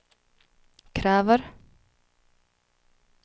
kräver